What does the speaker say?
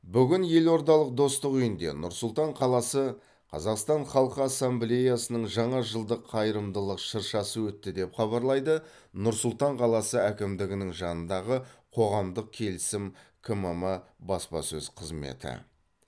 бүгін елордалық достық үйінде нұр сұлтан қаласы қазақстан халқы ассамблеясының жаңа жылдық қайырымдылық шыршасы өтті деп хабарлайды нұр сұлтан қаласы әкімдігінің жанындағы қоғамдық келісім кмм баспасөз қызметі